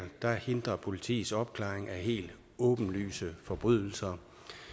der hindrer politiets opklaring af helt åbenlyse forbrydelser